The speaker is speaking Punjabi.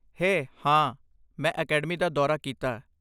ਹੇ! ਹਾਂ, ਮੈਂ ਅਕੈਡਮੀ ਦਾ ਦੌਰਾ ਕੀਤਾ।